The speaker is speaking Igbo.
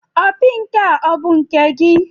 Opi nke a ọ̀ bụ nke gị?